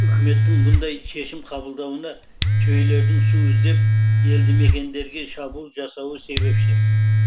үкіметтің бұндай шешім қабылдауына түйелердің су іздеп елдімекендерге шабуыл жасауы себепші